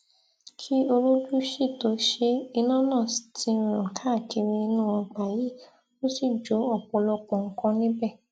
kí olójú sì tóo ṣe é iná náà ti ràn káàkiri inú ọgbà yìí ó sì jó ọpọlọpọ nǹkan níbẹ